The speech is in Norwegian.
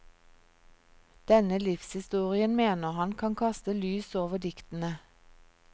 Denne livshistorien mener han kan kaste lys over diktene.